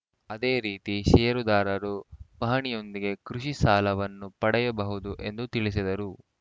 ಅದೇ ರೀತಿ ಷೇರುದಾರರು ಪಹಣಿಯೊಂದಿಗೆ ಕೃಷಿ ಸಾಲವನ್ನು ಪಡೆಯಬಹುದು ಎಂದು ತಿಳಿಸಿದರು